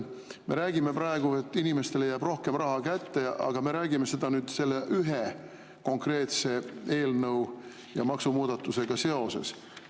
Me räägime praegu, et inimestele jääb rohkem raha kätte, aga me räägime seda selle ühe konkreetse eelnõu ja maksumuudatusega seoses.